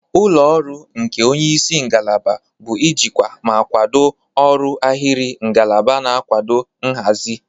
Ụlọ ọrụ nke onye isi ngalaba bụ ijikwa ma kwado ọrụ ahịrị ngalaba na nkwado nhazi.